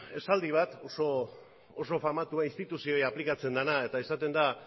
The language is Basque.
esaldi bat oso famatua instituzioei aplikatzen zaiena eta esaten da